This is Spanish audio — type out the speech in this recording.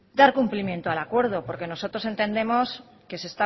dar cumplimiento al acuerdo porque nosotros entendemos que